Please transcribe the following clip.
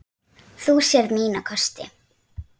Þú sérð mína kosti.